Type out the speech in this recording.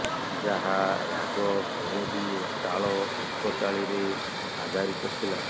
ଯାହା ରାଗ ଭୈରବୀ ଓ ତାଳ ଏକତାଳୀରେ ଆଧାରିତ ଥିଲା